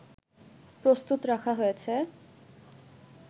প্রস্তুত রাখা হয়েছে